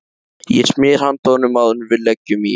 Ég smyr handa honum áður en við leggjum í hann.